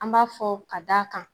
An b'a fɔ ka d' a kan